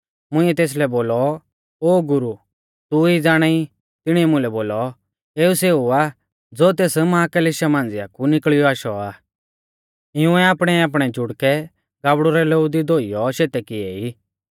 मुंइऐ तेसलै बोलौ ओ गुरु तू ई ज़ाणाई तिणीऐ मुलै बोलौ एऊ सेऊ आ ज़ो तेस महाक्लेशा मांझ़िया कु निकल़ियौ आशौ आ इउंऐ आपणैआपणै जुड़कै गाबड़ु रै लोऊ दी धोइऔ शेते किऐ ई